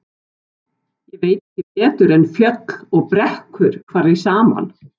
Ég veit ekki betur en fjöll og brekkur fari saman.